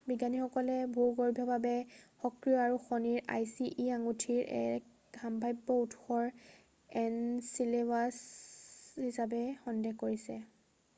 বিজ্ঞানীসকলে ভূৰ্গভীয়ভাৱে সক্ৰিয় আৰু শনিৰ আইচি e আঙুঠিৰ এক সম্ভাব্য উৎসৰ এনচিলেডাছ হিচাপে সন্দেহ কৰিছে৷